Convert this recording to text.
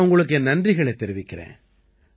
நான் உங்களுக்கு என் நன்றிகளைத் தெரிவிக்கறேன்